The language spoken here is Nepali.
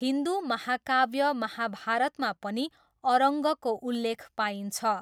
हिन्दु महाकाव्य महाभारतमा पनि अरङ्गको उल्लेख पाइन्छ।